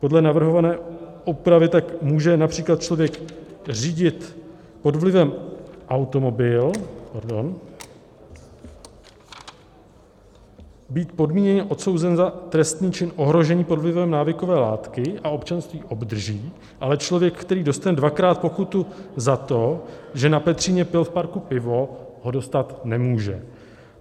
Podle navrhované úpravy tak může například člověk řídit pod vlivem automobil, pardon, být podmíněně odsouzen za trestný čin ohrožení pod vlivem návykové látky, a občanství obdrží, ale člověk, který dostane dvakrát pokutu za to, že na Petříně pil v parku pivo, ho dostat nemůže.